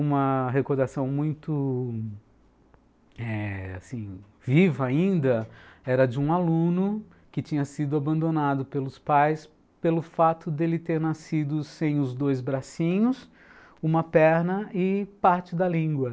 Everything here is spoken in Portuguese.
Uma recordação muito eh assim, viva ainda, era de um aluno que tinha sido abandonado pelos pais pelo fato dele ter nascido sem os dois bracinhos, uma perna e parte da língua.